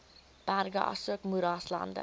berge asook moeraslande